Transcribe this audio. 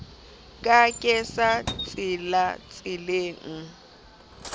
ka ke sa tsilatsile le